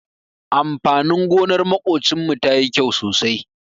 Amfanin gonar maƙocinmu tayi kyau sosai.